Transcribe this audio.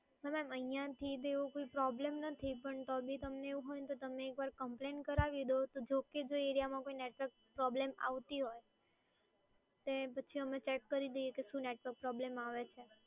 ના મેડમ, અહિંયાથી તો એવો કોઈ પ્રોબ્લેમ નથી પણ તો બી તમને એવું હોયને તો તમે એકવાર કમ્પ્લેન કરાવી દો, તો જો કે જો એ એરિયામાં નેટવર્ક પ્રોબ્લેમ આવતી હોય તે પછી અમે ચેક કરી લઈએ કે શું નેટવર્ક પ્રોબ્લેમ આવે છે.